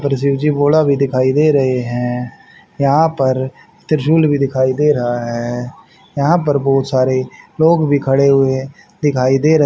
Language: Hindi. और शिव जी भोला भी दिखाई दे रहे हैं। यहां पर त्रिशूल भी दिखाई दे रहा है। यहां पर बहुत सारे लोग भी खड़े हुए हैं दिखाई दे रहे --